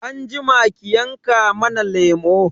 Anjima ki yanka mana lemo